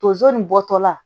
Tonso nin bɔtɔ la